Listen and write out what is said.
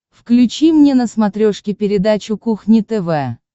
включи мне на смотрешке передачу кухня тв